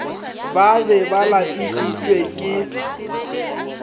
ba be ba lapišitšwe ke